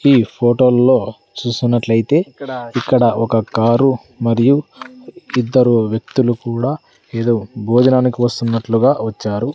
ఈ ఫోటోల్లో చూస్తున్నట్లైతే ఇక్కడ ఒక కారు మరియు ఇద్దరు వ్యక్తులు కూడా ఏదో భోజనానికి వస్తున్నట్లుగా వచ్చారు.